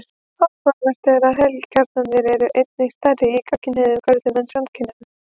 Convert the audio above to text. Áhugavert er að heilakjarnarnir eru einnig stærri í gagnkynhneigðum körlum en samkynhneigðum.